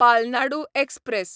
Palnadu express